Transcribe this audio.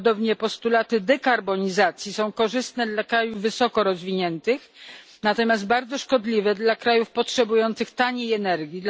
Podobnie postulaty dekarbonizacji są korzystne dla krajów wysoko rozwiniętych, natomiast bardzo szkodliwe dla krajów potrzebujących taniej energii.